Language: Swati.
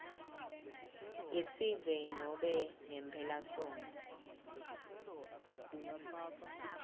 yesive nobe ngemphelasontfo